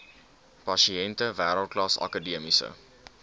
pasiënte wêreldklas akademiese